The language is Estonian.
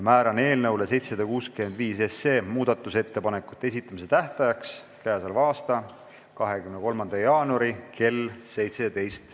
Määran eelnõu 765 muudatusettepanekute esitamise tähtajaks k.a 23. jaanuari kell 17.